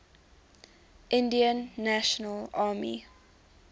indian national army